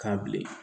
K'a bilen